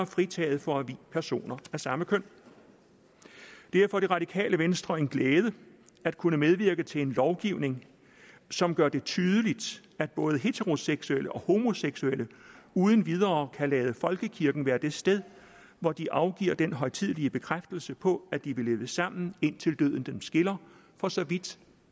fritaget for at vie personer af samme køn det er for det radikale venstre en glæde at kunne medvirke til en lovgivning som gør det tydeligt at både heteroseksuelle og homoseksuelle uden videre kan lade folkekirken være det sted hvor de afgiver den højtidelige bekræftelse på at de vil leve sammen indtil døden dem skiller for så vidt